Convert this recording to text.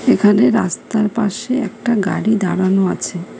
এখানে রাস্তার পাশে একটা গাড়ি দাঁড়ানো আছে।